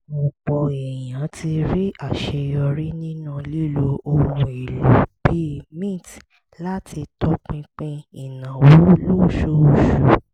ọ̀pọ̀ èèyàn ti rí àṣeyọrí nínú lílo ohun èlò bíi mint láti tọpinpin ìnáwó lóṣooṣù